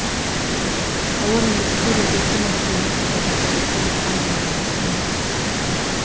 тауар өндірушілер өзекті мәселені павлодарда өткен аймақаралық жиында талқылады